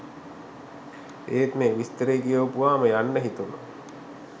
එත් මේ විස්තරේ කියවපුවාම යන්න හිතුනා.